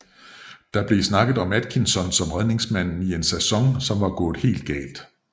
Der blev snakket om Atkinson som redningsmand i en sæson som var gået helt galt